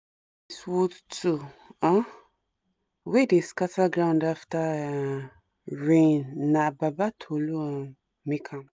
this wood tool um wey dey scatter ground after um rain na baba tolu um make am